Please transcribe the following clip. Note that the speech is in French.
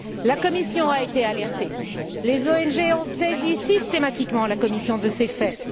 La Commission a été alertée, les ONG ont systématiquement saisi la Commission de ces faits.